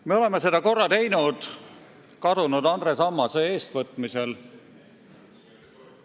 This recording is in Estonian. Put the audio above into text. Me oleme seda korra teinud kadunud Andres Ammase eestvõtmisel.